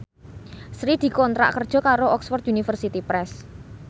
Sri dikontrak kerja karo Oxford University Press